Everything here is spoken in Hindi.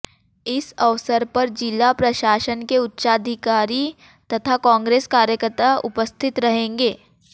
इस अवसर पर जिला प्रशासन के उच्चाधिकारी तथा कांग्रेस कार्यकर्ता उपस्थित रहेंगे